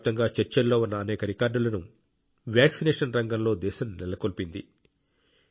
ప్రపంచవ్యాప్తంగా చర్చల్లో ఉన్న అనేక రికార్డులను వాక్సినేషన్ రంగంలో దేశం నెలకొల్పింది